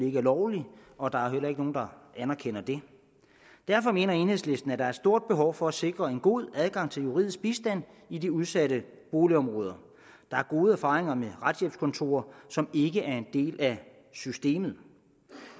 ikke er lovligt og der er da heller ikke nogen der anerkender det derfor mener enhedslisten at der er et stort behov for at sikre en god adgang til juridisk bistand i de udsatte boligområder der er gode erfaringer med retshjælpskontorer som ikke er en del af systemet